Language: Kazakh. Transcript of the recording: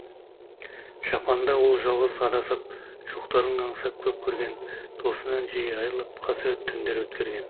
жапанда ол жалғыз адасып жоқтарын аңсап көп көрген досынан жиі айрылып қасірет түндер өткерген